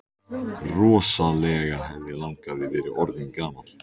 Rosalega hefði langafi verið orðinn gamall!